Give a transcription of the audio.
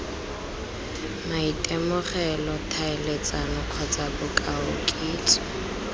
maitemogelo tlhaeletsano kgotsa bokao kitso